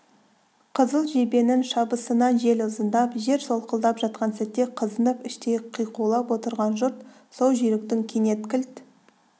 қызыл жебенің шабысынан жел ызыңдап жер солқылдап жатқан сәтте қызынып іштей қиқулап отырған жұрт сол жүйріктің кенет кілт